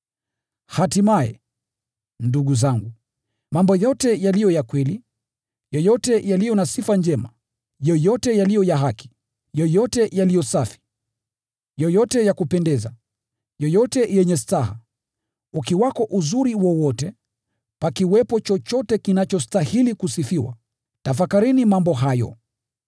Hatimaye, ndugu zangu, mambo yote yaliyo ya kweli, yoyote yaliyo na sifa njema, yoyote yaliyo ya haki, yoyote yaliyo safi, yoyote ya kupendeza, yoyote yenye staha, ukiwepo uzuri wowote, pakiwepo chochote kinachostahili kusifiwa, tafakarini mambo hayo.